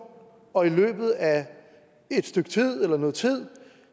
og i løbet af noget tid